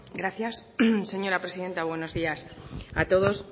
gracias señora presidenta buenos días a todos